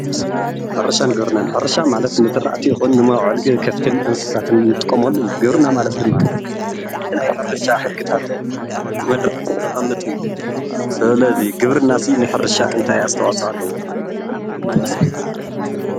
ሕርሻን ግብርናን፡- ሕርሻ ማለት ንዝራእቲ ይኹን ንመውዓሊ ከፍትን እንስሳትታትን እንጥቀመሉ እዩ፡፡ ግብርና ማለት ድማ ብናይ ሕርሻ ሕግታትን መድረኻትን ዘቅምጥ እዩ፡፡ ስለዚ ግብርና ንሕርሻ እንታይ ኣስተዋፅኦ ኣለዎ?